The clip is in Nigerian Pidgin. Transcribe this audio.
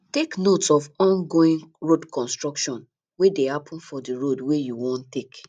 take note of ongoing road construction wey dey happen for di road wey you wan take